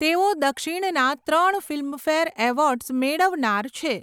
તેઓ દક્ષિણના ત્રણ ફિલ્મફેર એવોર્ડ્સ મેળવનાર છે.